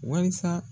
Wasa